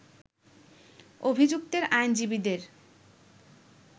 অভিযুক্তের আইনজীবীদের